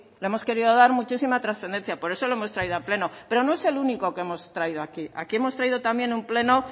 le hemos querido dar muchísima trascendencia por eso lo hemos traído a pleno pero no es el único que hemos traído aquí aquí hemos traído un pleno